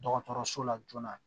Dɔgɔtɔrɔso la joona